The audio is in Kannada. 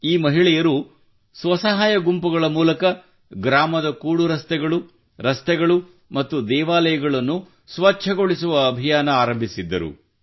ಈ ಮಹಿಳೆಯರು ಸ್ವಸಹಾಯ ಗುಂಪುಗಳ ಮೂಲಕ ಗ್ರಾಮದ ಕೂಡು ರಸ್ತೆಗಳು ರಸ್ತೆಗಳು ಮತ್ತು ದೇವಾಲಯಗಳನ್ನು ಸ್ವಚ್ಛಗೊಳಿಸುವ ಅಭಿಯಾನವನ್ನು ಆರಂಬಿಸಿದ್ದರು